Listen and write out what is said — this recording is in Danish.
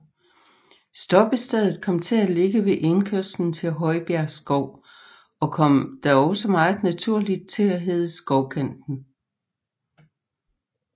Stoppestedet kom til at ligge ved indkørslen til Højbjerg Skov og kom da også meget naturligt til at hedde Skovkanten